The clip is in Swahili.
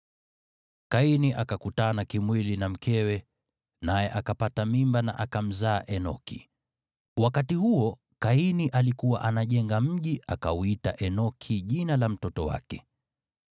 Kaini akakutana kimwili na mkewe, naye akapata mimba na akamzaa Enoki. Wakati huo Kaini alikuwa anajenga mji, akauita Enoki jina la mtoto wake.